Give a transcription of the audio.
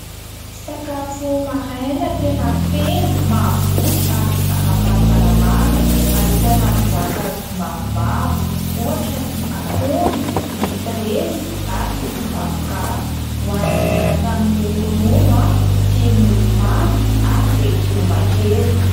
Sakafo maraina tena feno, mahavoky ary ara-pahasalamana. Ahitana voankazo maromaro, ohatra ny akondro, ny frezy ary ny zavokà. Ohanina miaraka amin'ny ronono sy mofomamy ary legioma kely.